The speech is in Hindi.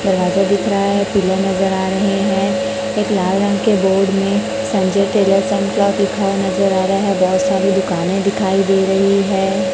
दरवाजा दिख रहा है पिलर नजर आ रहे हैं कुछ लाल रंग के बोर्ड में संजय टेलर्स नजर आ रहा हैं बहोत सारे दुकान दिखाई दे रही हैं।